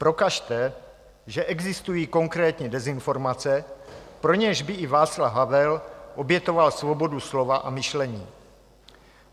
Prokažte, že existují konkrétní dezinformace, pro něž by i Václav Havel obětoval svobodu slova a myšlení.